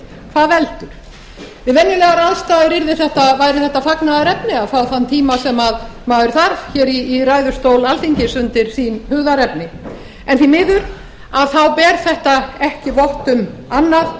hvað veldur við venjulegar aðstæður væri þetta fagnaðarefni að fá þann tíma sem maður þarf hér í ræðustól alþingis undir sín hugðarefni en því miður ber þetta ekki vott um annað